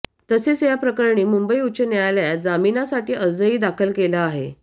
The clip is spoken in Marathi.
तसेच याप्रकरणी मुंबई उच्च न्यायालयात जामिनासाठी अर्जही दाखल केला आहे